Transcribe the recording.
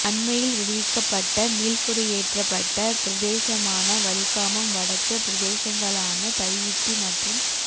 அண்மையில் விடுவிக்கப்பட்ட மீள்குடியேற்றப்பட்ட பிரதேசமான வலிகாமம் வடக்கு பிரதேசங்களான தையிட்டி மற்றும